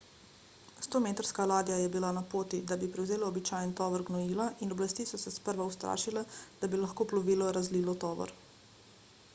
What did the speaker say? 100-metrska ladja je bila na poti da bi prevzela običajen tovor gnojila in oblasti so se sprva ustrašile da bi lahko plovilo razlilo tovor